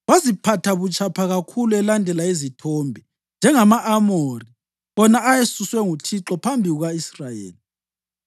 Waziphatha butshapha kakhulu elandela izithombe, njengama-Amori wona ayesuswe nguThixo phambi kuka-Israyeli.)